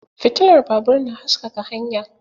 Fitilar babur na haskaka hanya.